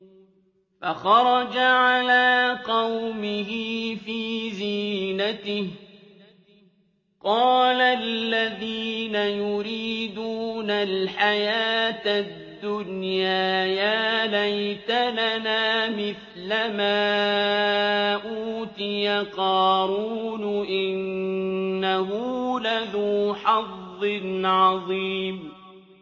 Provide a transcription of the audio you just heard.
فَخَرَجَ عَلَىٰ قَوْمِهِ فِي زِينَتِهِ ۖ قَالَ الَّذِينَ يُرِيدُونَ الْحَيَاةَ الدُّنْيَا يَا لَيْتَ لَنَا مِثْلَ مَا أُوتِيَ قَارُونُ إِنَّهُ لَذُو حَظٍّ عَظِيمٍ